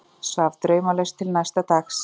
Svaf draumlaust til næsta dags.